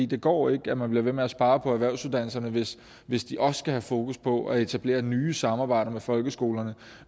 det går ikke at man bliver ved med at spare på erhvervsuddannelserne hvis hvis de også skal have fokus på at etablere nye samarbejder med folkeskolerne og